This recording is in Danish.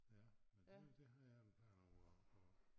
Ja men det det havde han planer om at at